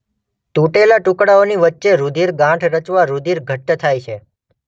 તૂટેલા ટુકડાઓની વચ્ચે રૂધિર ગાંઠ રચવા રૂધિર ઘટ્ટ થાય છે.